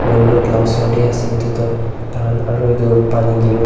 and road la oser te ase etu toh tai khan aru etu pani giri wo.